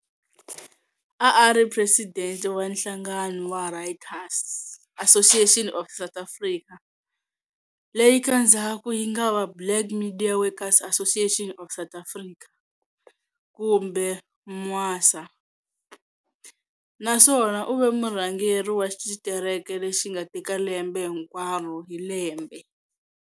A a ri president wa nhlangano wa Writers' Association of South Africa, leyi ka ndzhaku yi nga va Black Media Workers Association of South Africa, kumbe Mwasa, na swona u ve murhangeri wa xitereke lexi nga teka lembe hinkwaro hi lembe